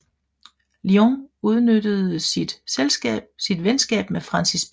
Lyon udnyttede sit venskab med Francis P